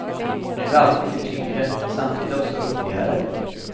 Nu är allt mycket tyngre, men samtidigt också roligare.